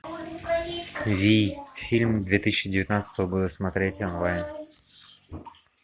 вий фильм две тысячи девятнадцатого года смотреть онлайн